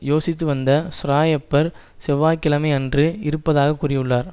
யோசித்துவந்த Schreiber செவ்வாய் கிழமை அன்று இருப்பதாக கூறியுள்ளார்